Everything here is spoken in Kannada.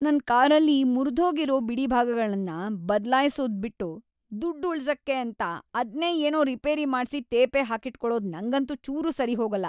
ನನ್ ಕಾರಲ್ಲಿ ಮುರ್ದ್ಹೋಗಿರೋ ಬಿಡಿಭಾಗಗಳ್ನ ಬದ್ಲಾಯ್ಸೋದ್‌ ಬಿಟ್ಟು ದುಡ್ಡ್‌ ಉಳ್ಸಕ್ಕೆ ಅಂತ ಅದ್ನೇ ಏನೋ ರಿಪೇರಿ ಮಾಡ್ಸಿ ತೇಪೆ ಹಾಕಿಟ್ಕೊಳದು ನಂಗಂತೂ ಚೂರೂ ಸರಿಹೋಗಲ್ಲ.